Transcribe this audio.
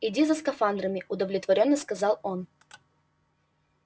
иди за скафандрами удовлетворённо сказал он